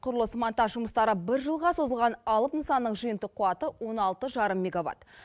құрылыс монтаж жұмыстары бір жылға созылған алып нысанның жиынтық қуаты он алты жарым мегаватт